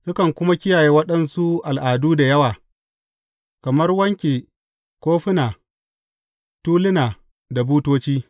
Sukan kuma kiyaye waɗansu al’adu da yawa, kamar wanken kwafuna, tuluna da butoci.